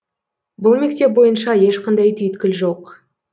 бұл мектеп бойынша ешқандай түйткіл жоқ